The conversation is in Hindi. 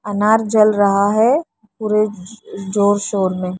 अनार जल रहा है पूरे जोर शोर में --